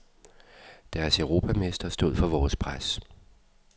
Deres europamestre stod for vores pres.